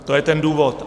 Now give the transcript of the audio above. To je ten důvod.